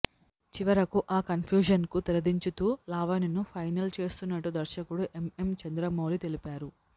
చివరకు ఆ కన్ఫ్యూజన్కు తెరదించుతూ లావణ్యను ఫైనల్ చేస్తున్నట్టు దర్శకుడు ఎంఎం చంద్రమౌళి తెలిపారు